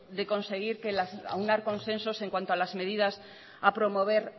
de conseguir aunar consensos en cuanto a las medidas a promover